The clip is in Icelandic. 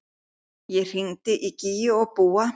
Ég hringdi í Gígju og Búa.